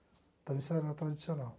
Então isso era tradicional.